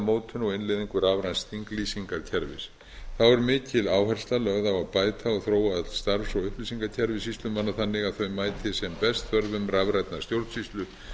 mótun og innleiðingu rafræns þinglýsingakerfis þá er mikil áhersla lögð á að bæta og þróa öll starfs og upplýsingakerfi sýslumanna þannig að þau mæti sem best þörfum rafrænnar stjórnsýslu